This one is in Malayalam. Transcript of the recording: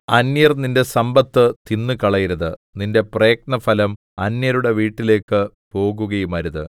അന്യർ നിന്റെ സമ്പത്ത് തിന്നുകളയരുത് നിന്റെ പ്രയത്നഫലം അന്യരുടെ വീട്ടിലേക്ക് പോകുകയുമരുത്